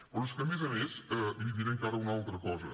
però és que a més a més li diré encara una altra cosa